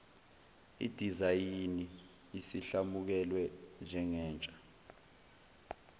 idizayini isiyamukelwe njengentsha